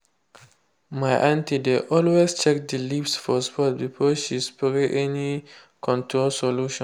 my aunty dey always check the leaves for spot before she spray any control solution.